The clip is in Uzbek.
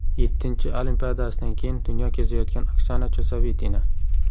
Yettinchi Olimpiadasidan keyin dunyo kezayotgan Oksana Chusovitina .